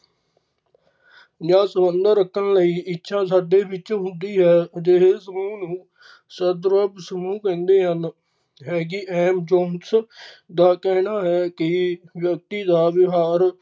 ਜਾਂ ਸੰਬੰਧ ਰੱਖਣ ਲਈ ਇੱਛਾ ਸਾਡੇ ਵਿੱਚ ਹੁੰਦੀ ਹੈ ਜੇੜੇ ਸਮੂਹ ਨੂੰ ਸਦਰੂਪ ਸਮੂਹ ਕਹਿੰਦੇ ਹਨ ਹੈਗੀ ਐਮ ਜੋਮਸ ਦਾ ਕਹਿਣਾ ਹੈ ਕਿ ਵਿਅਕਤੀ ਦਾ ਵਿਹਾਰ।